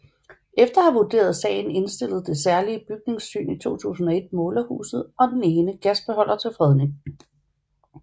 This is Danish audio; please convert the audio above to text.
Efter at have vurderet sagen indstillede Det Særlige Bygningssyn i 2001 målerhuset og den ene gasbeholder til fredning